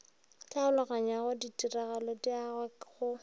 tlhaologanyao ditiragalo di agwa go